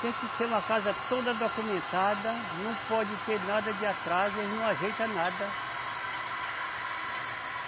Tem que ser uma casa toda documentada, não pode ter nada de atraso, eles não ajeita nada.